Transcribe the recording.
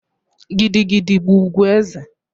Gidi gidi bụ ugwu eze